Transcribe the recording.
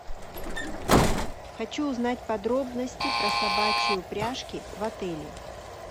хочу узнать подробности про собачьи упряжки в отеле